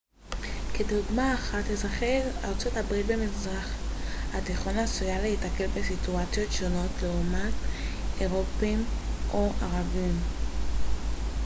כדוגמה אחת אזרחי ארצות הברית במזרח התיכון עשויים להיתקל בסיטואציות שונות לעומת אירופים או ערבים